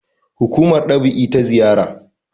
hukumar dab`i ta zariya